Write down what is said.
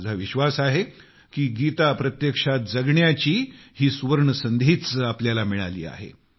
माझा विश्वास आहे की गीता प्रत्यक्षात जगण्याची ही सुवर्णसंधीच आपल्याला मिळाली आहे